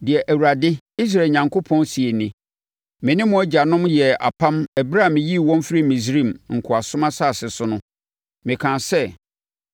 “Deɛ Awurade, Israel Onyankopɔn, seɛ nie: Me ne mo agyanom yɛɛ apam ɛberɛ a meyii wɔn firii Misraim, nkoasom asase so no. Mekaa sɛ,